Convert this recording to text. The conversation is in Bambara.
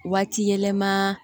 Waati yɛlɛma